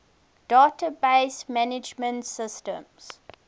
database management systems